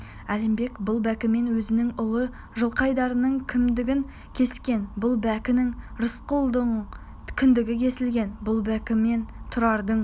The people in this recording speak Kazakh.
әлімбек бұл бәкімен өзінің ұлы жылқайдардың кіндігін кескен бұл бәкімен рысқұлдың кіндігі кесілген бұл бәкімен тұрардың